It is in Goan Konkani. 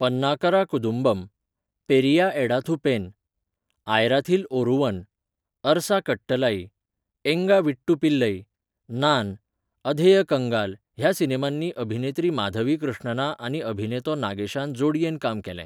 पन्नाकरा कुदुंबम, पेरिया एडाथू पेन, आयराथिल ओरुवन, अरसा कट्टलाई, एंगा वीट्टू पिल्लई, नान, अधेय कंगाल ह्या सिनेमांनी अभिनेत्री माधवी कृष्णना आनी अभिनेतो नागेशान जोडयेन काम केलें.